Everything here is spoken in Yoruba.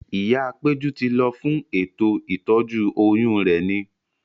Ìyá péjú ti lọ fún ètò ìtọ́jú oyún rẹ̀ ni